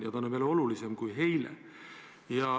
Praegu on see veel olulisem kui eile.